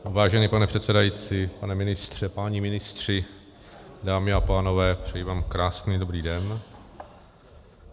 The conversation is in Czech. Vážený pane předsedající, pane ministře, páni ministři, dámy a pánové, přeji vám krásný dobrý den.